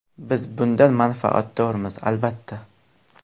Biz bundan manfaatdormiz, albatta.